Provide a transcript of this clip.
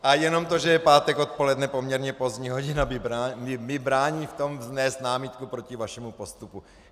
A jenom proto, že je pátek odpoledne, poměrně pozdní hodina, mi brání v tom vznést námitku proti vašemu postupu.